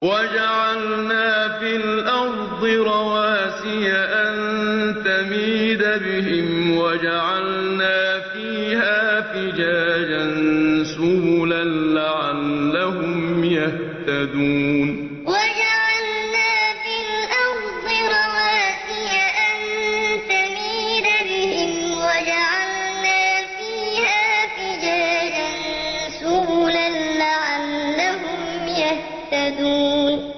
وَجَعَلْنَا فِي الْأَرْضِ رَوَاسِيَ أَن تَمِيدَ بِهِمْ وَجَعَلْنَا فِيهَا فِجَاجًا سُبُلًا لَّعَلَّهُمْ يَهْتَدُونَ وَجَعَلْنَا فِي الْأَرْضِ رَوَاسِيَ أَن تَمِيدَ بِهِمْ وَجَعَلْنَا فِيهَا فِجَاجًا سُبُلًا لَّعَلَّهُمْ يَهْتَدُونَ